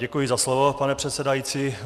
Děkuji za slovo, pane předsedající.